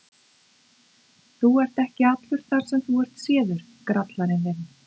Þú ert ekki allur þar sem þú ert séður, grallarinn þinn!